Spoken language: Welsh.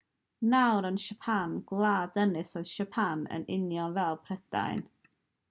nawr am siapan gwlad ynys oedd siapan yn union fel prydain